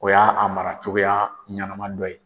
O y'a a mara cogoya ɲɛnama dɔ ye.